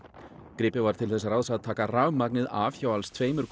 gripið var til þess ráðs að taka rafmagnið af hjá alls tveimur